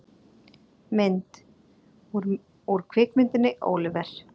Mynd: Úr kvikmyndinni Oliver!